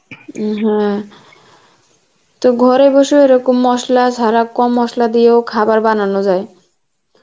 উম হ্যাঁ তো ঘরে বসেও এরকম মসলা ছাড়া কম মশলা দিয়েও খাবার বানানো যায়